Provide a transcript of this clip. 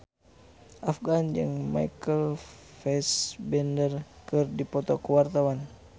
Afgan jeung Michael Fassbender keur dipoto ku wartawan